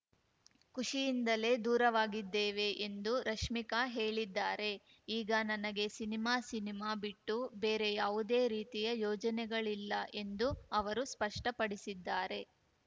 ಖುಷಿಯಿಂದಲೇ ದೂರವಾಗಿದ್ದೇವೆ ಎಂದು ರಶ್ಮಿಕಾ ಹೇಳಿದ್ದಾರೆ ಈಗ ನನಗೆ ಸಿನಿಮಾ ಸಿನಿಮಾ ಬಿಟ್ಟು ಬೇರೆ ಯಾವುದೇ ರೀತಿಯ ಯೋಜನೆಗಳಿಲ್ಲ ಎಂದು ಅವರು ಸ್ಪಷ್ಟಪಡಿಸಿದ್ದಾರೆ